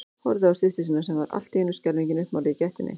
Horfði á systur sína sem var allt í einu skelfingin uppmáluð í gættinni.